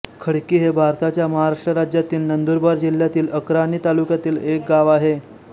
खडकी हे भारताच्या महाराष्ट्र राज्यातील नंदुरबार जिल्ह्यातील अक्राणी तालुक्यातील एक गाव आहे